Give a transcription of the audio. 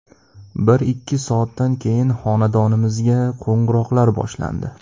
Bir-ikki soatdan keyin xonadonimizga qo‘ng‘iroqlar boshlandi.